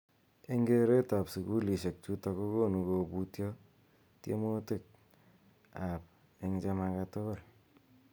Eng keret ab sukulishek chutok kokonu kobutio temutik ab eng che make tugul.